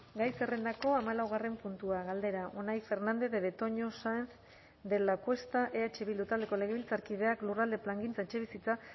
gai zerrendako hamalaugarren puntua galdera unai fernandez de betoño saenz de lacuesta eh bildu taldeko legebiltzarkideak lurralde plangintza etxebizitza